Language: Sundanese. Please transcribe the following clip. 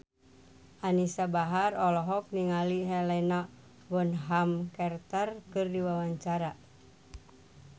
Anisa Bahar olohok ningali Helena Bonham Carter keur diwawancara